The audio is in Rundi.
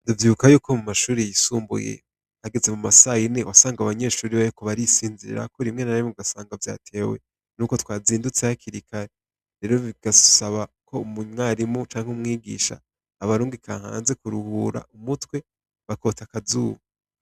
Ndavyibuka yuko mu mashure yisumbuye hageze muma sayine wasanga abanyeshure bariko barisinzirirako rimwe na rimwe ugasanga vyatewe nuko twanzindutse hakiri kare. Rero bigasaba ko umwarimu canke umwigisha abarungika hanze kuruhura umutwe, bakota akazuba.